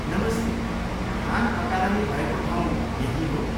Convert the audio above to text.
नमस्ते, खान अकादमी भएको ठाउँ यहीँ हो?